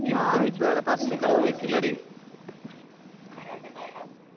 ഞാന് ഇതുവരെ പറശിനിക്കടവ് പോയിക്കില്ലെടി